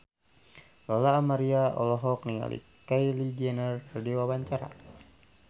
Lola Amaria olohok ningali Kylie Jenner keur diwawancara